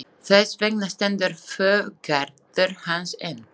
Þess vegna stendur búgarður hans enn.